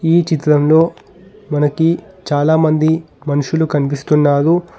ఈ చిత్రంలో మనకి చాలామంది మనుషులు కనిపిస్తున్నారు.